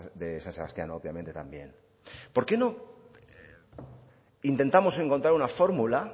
de san sebastián obviamente también por qué no intentamos encontrar una fórmula